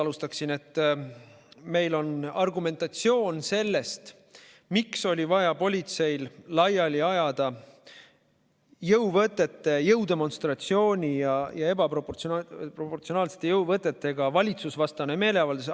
Siin kõlas argumentatsioon sellest, miks oli vaja politseil jõuvõtete, jõudemonstratsiooni ja ebaproportsionaalsete jõuvõtetega valitsusvastane meeleavaldus laiali ajada.